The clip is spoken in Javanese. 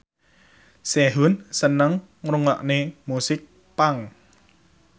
Sehun seneng ngrungokne musik punk